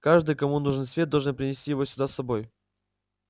каждый кому нужен свет должен принести его сюда с собой